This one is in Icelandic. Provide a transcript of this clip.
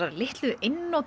einnota